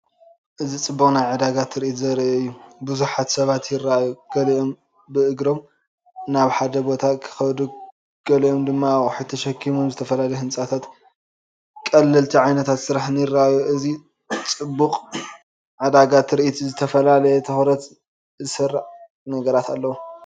እዚ ጽዑቕ ናይ ዕዳጋ ትርኢት ዘርኢ እዩ። ብዙሓት ሰባት ይረኣዩ። ገሊኦም ብእግሮም ናብ ሓደ ቦታ ክኸዱ ገሊኦም ድማ ኣቑሑት ተሰኪሞም። ዝተፈላለዩ ህንጻታትን ቀለልቲ ዓይነታት ስራሕን ይረኣዩ። እዚ ጽዑቕ ዕዳጋ ትርኢት ዝተፈላለየ ትኹረት ዝሰርቕ ነገራት ኣለዎ።